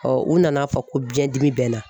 u nana fɔ ko biɲɛdimi bɛ n na